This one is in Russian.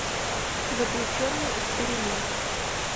запрещенный эксперимент